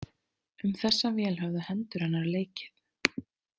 Um þessa vél höfðu hendur hennar leikið.